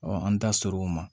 an da sɔr'o ma